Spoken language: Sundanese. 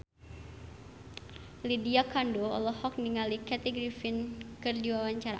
Lydia Kandou olohok ningali Kathy Griffin keur diwawancara